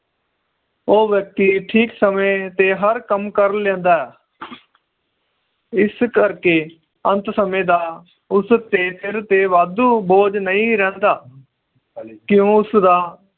ਉਹ ਵ੍ਯਕ੍ਤਿ ਠੀਕ ਸਮੇ ਤੇ ਹਰ ਕੰਮ ਕਰ ਲੈਂਦਾ ਹੈ ਇਸ ਕਰਕੇ ਅੰਤ ਸਮੇ ਦਾ ਉਸ ਦੇ ਸਿਰ ਤੇ ਵਾਦੁ ਬੋਝ ਨਹੀਂ ਰਹਿੰਦਾ ਕਿਉਂ ਉਸ ਦਾ